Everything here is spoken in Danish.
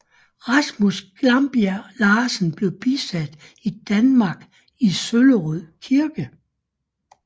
Rasmus Glarbjerg Larsen blev bisat i Danmark i Søllerød Kirke